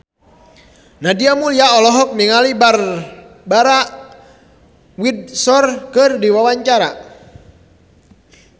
Nadia Mulya olohok ningali Barbara Windsor keur diwawancara